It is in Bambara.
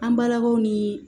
An barabaaw ni